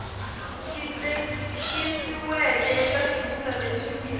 tikisiweke eka xivulwa lexi nge